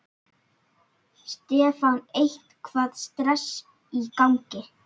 Stefán: Eitthvað stress í gangi?